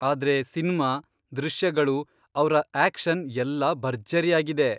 ಆದ್ರೆ ಸಿನ್ಮಾ, ದೃಶ್ಯಗಳು, ಅವ್ರ ಆಕ್ಷನ್ ಎಲ್ಲಾ ಭರ್ಜರಿಯಾಗಿದೆ.